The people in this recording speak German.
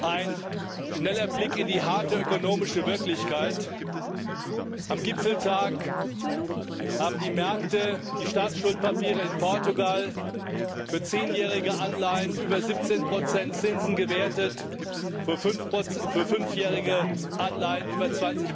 Ein schneller Blick in die harte ökonomische Wirklichkeit Am Gipfeltag haben die Märkte die Staatsschuldpapiere in Portugal für zehnjährige Anleihen über 17 Zinsen gewertet, für fünfjährige Anleihen über